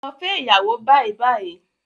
Lọ fẹ́ iyàwó bàìbàì